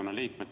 Aitäh!